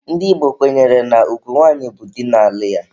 Ndị Igbo kwenyere na ugwu nwanyị bụ di na-alụ ya.